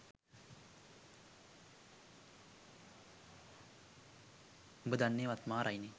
උඹ දන්න ඒවත් මාරයිනෙ